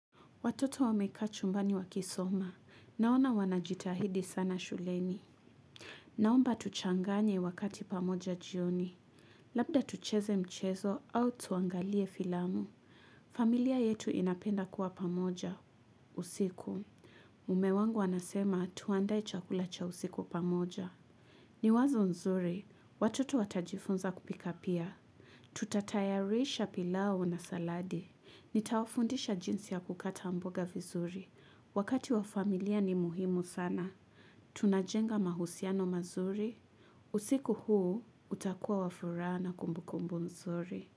Watoto wamekaa chumbani wakisoma. Naona wanajitahidi sana shuleni. Naomba tuchanganye wakati pamoja jioni. Labda tucheze mchezo au tuangalie filamu. Familia yetu inapenda kuwa pamoja, usiku. Mume wangu anasema tuandae chakula cha usiku pamoja. Ni wazo nzuri. Watoto watajifunza kupika pia. Tutatayarisha pilau na saladi. Nitawafundisha jinsi ya kukata mboga vizuri. Wakati wa familia ni muhimu sana. Tunajenga mahusiano mazuri. Usiku huu utakuwa wa furaha na kumbukumbu nzuri.